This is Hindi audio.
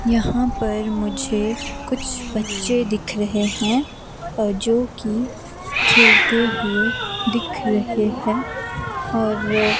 यहाँ पर मुझे कुछ बच्चे दिख रहे हैं और जो कि खेलते हुए दिख रहे हैं और--